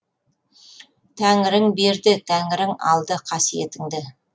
тәңірің берді тәңірің алды қасиетіңді